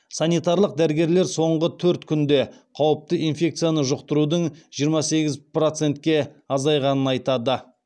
санитарлық дәрігерлер соңғы төрт күнде қауіпті инфекцияны жұқтырудың жиырма сегіз процентке азайғанын айтады